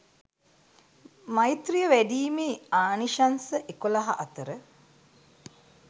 මෛත්‍රීය වැඩීමේ ආනිශංස එකොළහ අතර